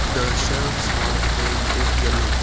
the shelves are painted yellow.